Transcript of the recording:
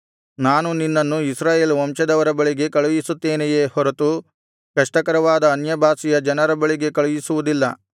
ನಾನು ನಿನ್ನನ್ನು ಇಸ್ರಾಯೇಲ್ ವಂಶದವರ ಬಳಿಗೆ ಕಳುಹಿಸುತ್ತೇನೆಯೇ ಹೊರತು ಕಷ್ಟಕರವಾದ ಅನ್ಯಭಾಷೆಯ ಜನರ ಬಳಿಗೆ ಕಳುಹಿಸುವುದಿಲ್ಲ